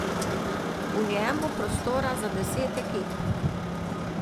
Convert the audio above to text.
V njem bo prostora za deset ekip.